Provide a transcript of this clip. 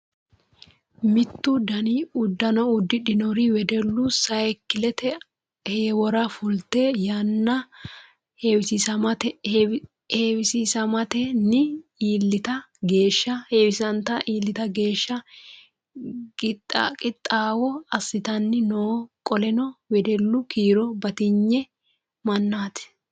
Mitto dani uddano uddidhinori wedellu sayiikilete heewora fulte yanna heewisammaniti iillita geeshsha gixaawo assitanni no. Qoleno wedellu kiiro batigne mannaati.